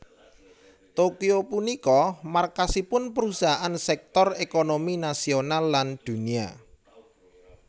Tokyo punika markasipun perusahaan sektor ékonomi nasional lan dunia